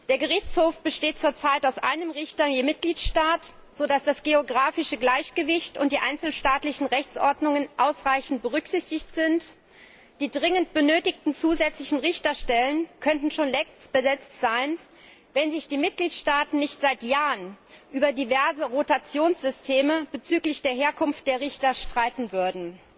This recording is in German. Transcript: Der Gerichtshof besteht zur Zeit aus einem Richter je Mitgliedstaat, so dass das geografische Gleichgewicht und die einzelstaatlichen Rechtsordnungen ausreichend berücksichtigt sind. Die dringend benötigten zusätzlichen Richterstellen könnten schon längst besetzt sein, wenn sich die Mitgliedstaaten nicht seit Jahren über diverse Rotationssysteme bezüglich der Herkunft der Richter streiten würden.